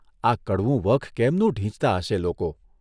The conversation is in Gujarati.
આ કડવું વખ કેમનુ ઢીંચતા હશે લોકો?